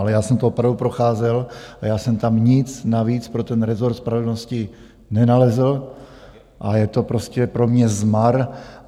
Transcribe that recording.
Ale já jsem to opravdu procházel a já jsem tam nic navíc pro ten rezort spravedlnosti nenalezl a je to prostě pro mě zmar.